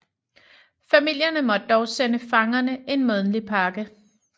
Familierne måtte dog sende fangerne en månedlig pakke